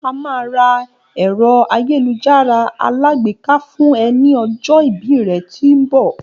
A máa ra èrò àyélujárá alágbèká fún e ni ọjọ́ ìbí rẹ tí ń mbọ